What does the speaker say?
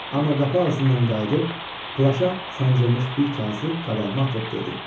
Amma qapı ağzından qayıdıb, plaşa sancılmış bir kağızı qabağıma atıb dedi: